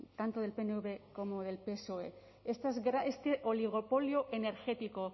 tanto del pnv como del psoe este oligopolio energético